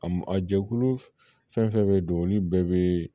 A m a jɛkulu fɛn fɛn bɛ don olu bɛɛ bɛ